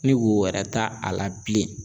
Ni wo wɛrɛ t'a a la bilen